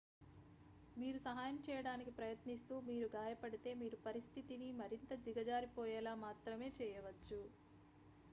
మీరు సహాయం చేయడానికి ప్రయత్నిస్తూ మీరు గాయపడితే మీరు పరిస్థితిని మరింత దిగజారిపోయేలా మాత్రమే చేయవచ్చు